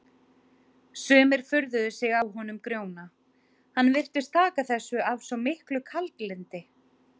Sumir furðuðu sig á honum Grjóna, hann virtist taka þessu af svo miklu kaldlyndi.